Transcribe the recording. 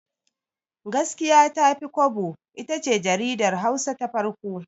Gaskiya Tafi Kwabo itace jaridar Hausa ta farko.